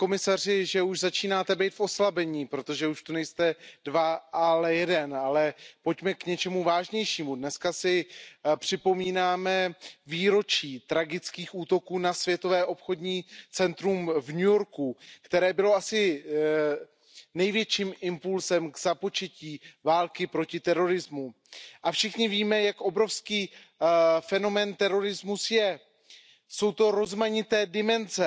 Paní předsedající, hokejovou terminologií bych řekl, pane komisaři, že už začínáte být v oslabení, protože už zde nejste dva, ale jeden. Ale pojďme k něčemu vážnějšímu. Dnes si připomínáme výročí tragických útoků na Světové obchodní centrum v New Yorku, které bylo asi největším impulsem k započetí války proti terorismu. A všichni víme, jak obrovský fenomén terorismus je. Jsou to rozmanité dimenze,